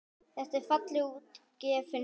Þetta er fallega útgefin bók.